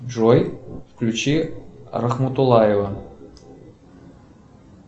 джой включи рахмутулаева